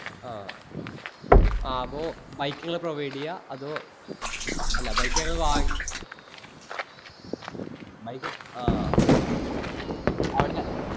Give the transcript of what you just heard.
ആ ആ അപ്പൊ bike നിങ്ങള് provide ചെയുവാ അതോ അല്ലാ bike നമ്മള് വാങ്ങി bike ആ അവിടുന്ന്